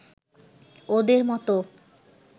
ওদের মত